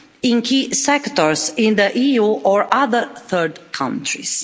in key sectors in the EU or other third countries.